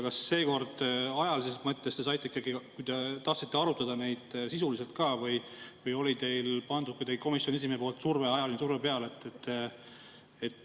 Kas seekord ajalises mõttes te saite ikkagi, kui te tahtsite, arutada neid sisuliselt ka või oli komisjoni esimehe pandud ajaline surve peal?